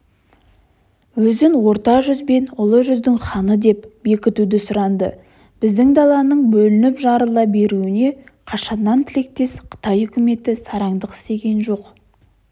өзін орта жүз бен ұлы жүздің ханы деп бекітуді сұранды біздің даланың бөлініп-жарыла беруіне қашаннан тілектес қытай үкіметі сараңдық істеген жоқ